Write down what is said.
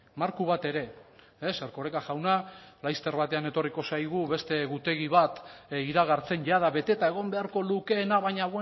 marko bat ere erkoreka jauna laster batean etorriko zaigu beste egutegi bat iragartzen jada beteta egon beharko lukeena baina